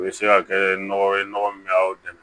U bɛ se ka kɛ nɔgɔ ye nɔgɔ min bɛ aw dɛmɛ